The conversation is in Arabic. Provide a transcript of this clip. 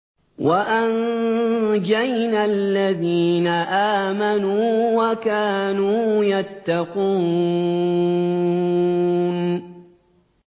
وَأَنجَيْنَا الَّذِينَ آمَنُوا وَكَانُوا يَتَّقُونَ